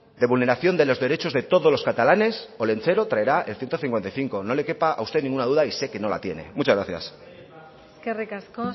de vulneración de los derechos de todos los catalanes olentzero traerá el ciento cincuenta y cinco no le quepa a usted ninguna duda y sé que no la tiene muchas gracias eskerrik asko